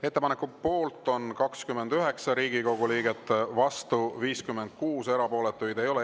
Ettepaneku poolt on 29 Riigikogu liiget, vastu 56, erapooletuid ei ole.